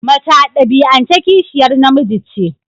Mace a dabi'ance kishiyar namiji ce.